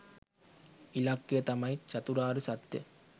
ඉලක්කය තමයි චතුරාර්ය සත්‍යය